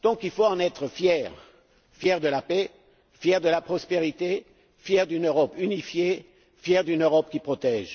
Nous devons en être fiers, fiers de la paix, fiers de la prospérité, fiers d'une Europe unifiée, fiers d'une Europe qui protège.